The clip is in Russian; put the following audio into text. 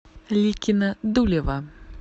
ликино дулево